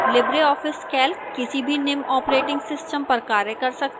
libreoffice calc किसी भी निम्न operating systems पर कार्य कर सकता है